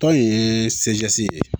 Tɔn in ye ye